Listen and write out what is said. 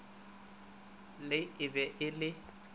le e be e le